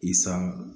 I san